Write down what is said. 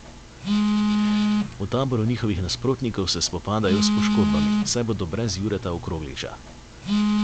V taboru njihovih nasprotnikov se spopadajo s poškodbami, saj bodo brez Jureta Okrogliča.